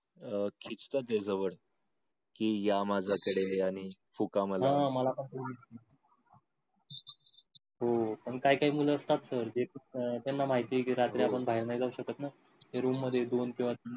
अं खिचत ते जवळ कि या माझ्याकडे आणि फुका मला. हा हो पण काही काही मूल असतात जे त्यांना माहिती कीआपण रात्री बाहेर नाही जाऊ शकत ना, ते room मध्ये दोन किंवा तीन